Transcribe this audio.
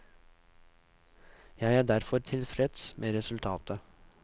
Jeg er derfor tilfreds med resultatet.